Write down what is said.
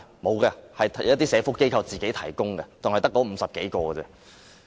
沒有的，只有一些社福機構才會提供，並且只有50多人而已。